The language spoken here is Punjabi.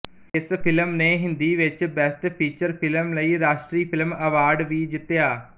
ਇਸ ਫਿਲਮ ਨੇ ਹਿੰਦੀ ਵਿੱਚ ਬੈਸਟ ਫੀਚਰ ਫਿਲਮ ਲਈ ਰਾਸ਼ਟਰੀ ਫਿਲਮ ਅਵਾਰਡ ਵੀ ਜਿੱਤਿਆ